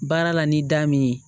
Baara la ni da min ye